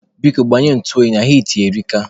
Biko, gbanye ntụ oyi na hiiti erika.